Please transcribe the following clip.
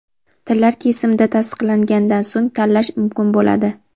tillar kesimida tasdiqlanganidan so‘ng tanlash mumkin bo‘ladi.